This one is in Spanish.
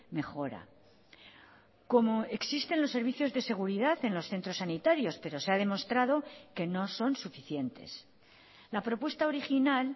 mejora como existen los servicios de seguridad en los centros sanitarios pero se ha demostrado que no son suficientes la propuesta original